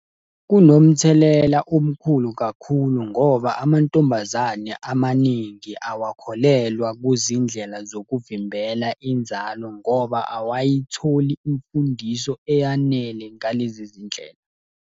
Kunomthelela omkhulu kakhulu ngoba amantombazane amaningi awakholelwa kuzindlela zokuvimbela inzalo ngoba awayitholi imfundiso eyanele ngalezi zindlela.